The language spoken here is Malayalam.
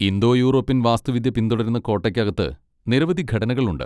ഇന്തോ യൂറോപ്യൻ വാസ്തുവിദ്യ പിന്തുടരുന്ന കോട്ടയ്ക്ക് അകത്ത് നിരവധി ഘടനകളുണ്ട്.